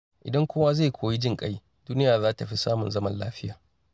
Idan kowa zai koyi jin ƙai, duniya za ta fi samun zaman lafiya.